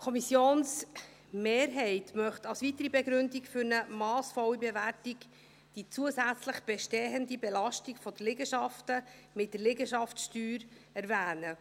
Die Kommissionsmehrheit möchte als weitere Begründung für eine massvolle Bewertung die zusätzliche bestehende Belastung der Liegenschaften mit der Liegenschaftssteuer erwähnen.